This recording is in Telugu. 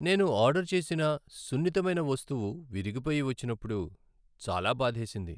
నేను ఆర్డర్ చేసిన సున్నితమైన వస్తువు విరిగిపోయి వచ్చినప్పుడు చాలా బాధేసింది.